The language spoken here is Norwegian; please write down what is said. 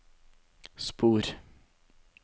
spor